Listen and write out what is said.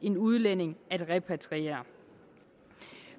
en udlænding repatriering